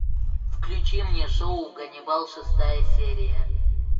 включи мне шоу ганнибал шестая серия